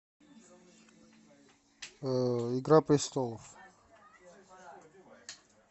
игра престолов